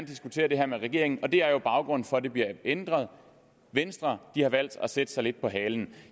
diskutere det her med regeringen og det er jo baggrunden for at det bliver ændret venstre har valgt at sætte sig lidt på halen